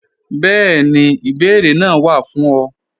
Bẹẹni, ìbèẹrè naa wá fún ọ.